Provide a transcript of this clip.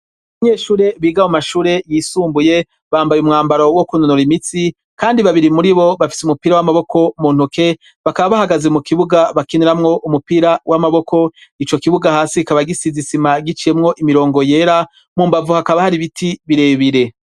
Abanyeshure biga mu mashure yisumbuye bambaye umwambaro wo kunonora imitsi kandi babiri muri bo bafise umupira w'amaboko mu ntoke bakaba bahagaze mu kibuga bakiniramwo umupira w'amaboko, ico kibuga hasi kikaba gisizi isima giciyemwo imirongo yera, mu mbavu hakaba hari ibiti birebire.